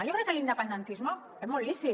jo crec que l’independentisme és molt lícit